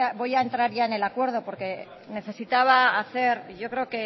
voy a entrar ya en el acuerdo porque necesitaba hacer yo creo